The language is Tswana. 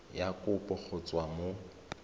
ya kopo go tswa mo